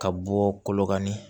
Ka bɔ kolokani